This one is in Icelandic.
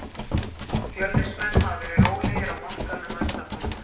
Fjölnismenn hafa verið rólegir á markaðnum að undanförnu.